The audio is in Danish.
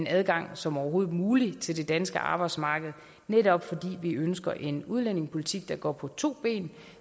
adgang som overhovedet muligt til det danske arbejdsmarked netop fordi vi ønsker en udlændingepolitik der går på to ben